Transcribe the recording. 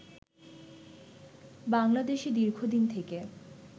বাংলাদেশে দীর্ঘদিন থেকে